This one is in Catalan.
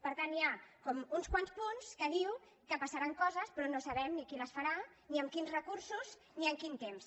per tant hi ha com uns quants punts que diuen que passaran coses però no sabem ni qui les farà ni amb quins recursos ni en quin temps